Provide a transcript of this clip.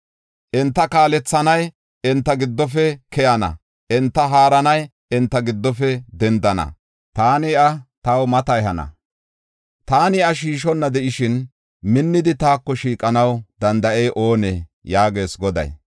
Enta kaalethanay enta giddofe keyana; enta haaranay enta giddofe dendana. Taani iya taw mata ehana; I taako shiiqana. Taani iya shiishonna de7ishin, minnidi taako shiiqanaw danda7ey oonee?” yaagees Goday.